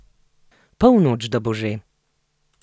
Polnoč da bo že?